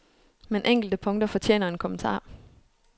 Men enkelte punkter fortjener en kommentar.